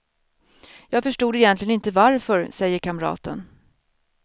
Jag förstod egentligen inte varför, säger kamraten.